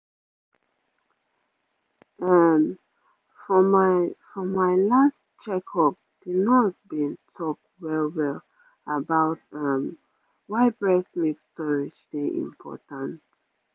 ehm for my for my last checkup the nurse been talk well-well about um why breast milk storage dey important